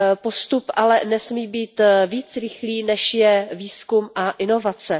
Postup ale nesmí být více rychlý, než je výzkum a inovace.